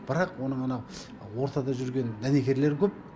бірақ оның анау ортада жүрген дәнекерлері көп